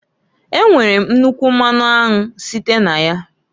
E nwere m nnukwu mmanụ anwụ site n'aya.